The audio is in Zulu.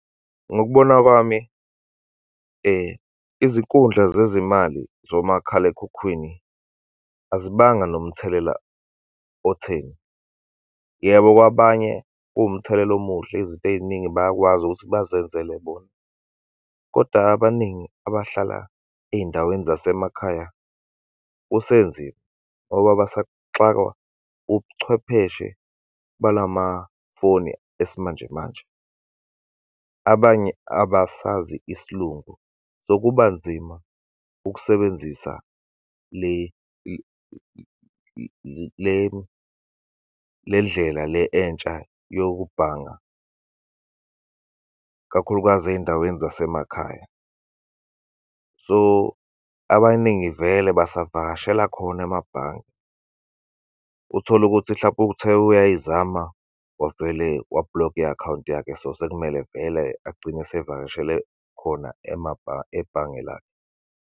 Ngokubona kwami, izinkundla zezimali zomakhalekhukhwini azibanga nomthelela otheni. Yebo, kwabanye kuwumthelela omuhle, izinto ey'ningi bayakwazi ukuthi bazenzele bona. Kodwa abaningi abahlala ey'ndaweni zasemakhaya kusenzima, ngoba basaxakwa ubuchwepheshe balamafoni esimanjemanje. Abanye abasazi isiLungu, so kuba nzima ukusebenzisa le le lendlela le entsha yokubhanga, kakhulukazi ey'ndaweni zasemakhaya. So, abaningi vele basavakashela khona amabhange. Utholukuthi, mhlampe uthe uyayizama wavele wa-block-a i-akhawunti yakhe, so sekumele vele agcine esevakashele khona, ebhange lakhe.